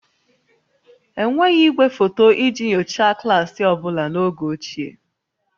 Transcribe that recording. Enweghị igwefoto iji nyochaa klaasị ọ bụla n'oge ochie